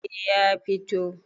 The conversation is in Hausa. eh ya fito